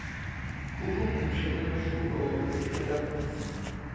ahumushe umehluko wetinshokutsi